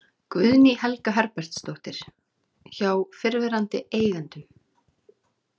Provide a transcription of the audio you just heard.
Guðný Helga Herbertsdóttir: Hjá fyrrverandi eigendum?